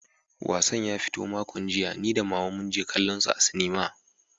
Wassan ya fito makon jiya, ni da Mama mun je kallonsa a sinima.